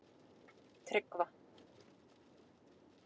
Tryggva